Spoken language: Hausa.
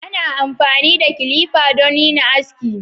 Ana amfani da kilifa don yin aski.